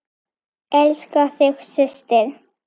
Elska þig, systir.